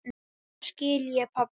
Núna skil ég, pabbi.